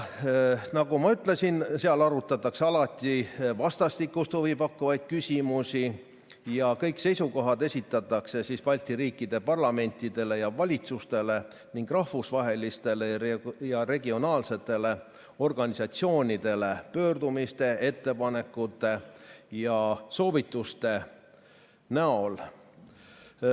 Nagu ma ütlesin, seal arutatakse alati vastastikust huvi pakkuvaid küsimusi ja kõik seisukohad esitatakse Balti riikide parlamentidele ja valitsustele ning rahvusvahelistele ja regionaalsetele organisatsioonidele pöördumiste, ettepanekute ja soovituste näol.